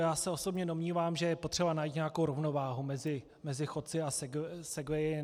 Já se osobně domnívám, že je potřeba najít nějakou rovnováhu mezi chodci a segwayi.